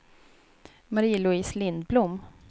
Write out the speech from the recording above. Marie-Louise Lindblom